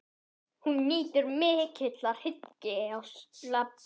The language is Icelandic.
Hún nýtur mikillar hylli á Skaganum.